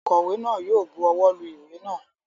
Ònkówè náà yi o buwó lu ìwé náà